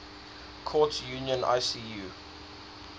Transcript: courts union icu